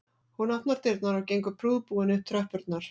Hún opnar dyrnar og gengur prúðbúin upp tröppurnar